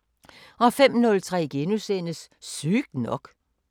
05:03: Sygt nok *